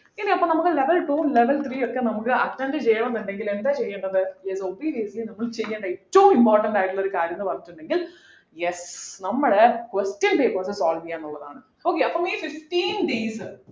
ഇനി അപ്പൊ നമുക് level two ഉം level three ഉം ഒക്കെ നമുക്ക് attend ചെയ്യണം ന്നുണ്ടെങ്കിൽ എന്താ ചെയ്യേണ്ടത് then obviously നമ്മൾ ചെയ്യേണ്ട ഏറ്റവും important ആയിട്ടുള്ളൊരു കാര്യം ന്നു പറഞ്ഞിട്ടുണ്ടെങ്കിൽ yes നമ്മള് question papers solve ചെയ്യാ ന്നുള്ളതാണ് okay അപ്പൊ ഈ fifteen days